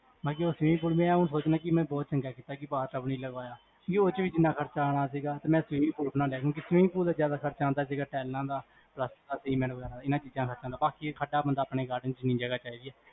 ਬਾਕੀ ਓਹ swimming pool ਮੈਂ ਇਹ ਸੋਚਦਾ ਕੀ ਮੈਂ ਚੰਗਾ ਕੀਤਾ ਕੀ bath tub ਨੀ ਲਗਵਾਇਆ ਕਿਓਂਕਿ ਓਸ ਚ ਵੀ ਇੰਨਾ ਖਰਚਾ ਅਨਾ ਸੀਗਾ ਜਿਨ੍ਹਾਂ swimming pool ਦਾ, ਜਿਆਦਾ ਖਰਚਾ ਆਂਦਾ ਸੀਗਾ ਟੀਏਲਾ ਦਾ